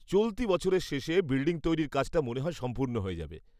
চলতি বছরের শেষে বিল্ডিং তৈরির কাজটা মনে হয় সম্পূর্ণ হয়ে যাবে।